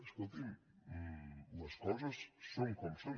escolti’m les coses són com són